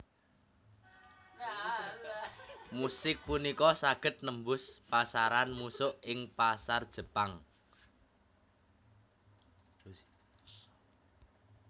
Musik punika saged nembus pasaran musuk ing pasar Jepang